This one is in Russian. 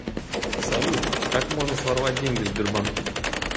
салют как можно своровать деньги в сбербанке